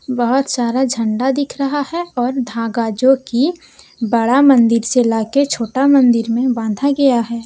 बहुत सारा झंडा दिख रहा है और धागा जो कि बड़ा मंदिर से ला के छोटा मंदिर में बांधा गया है।